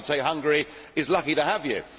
I would say Hungary is lucky to have you.